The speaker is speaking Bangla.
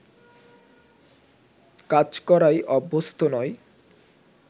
কাজ করায় অভ্যস্ত নয়